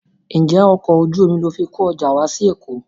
Ǹjẹ́ ọkọ̀ ojú omi ni o fi kó ọjà wá sí Èkó?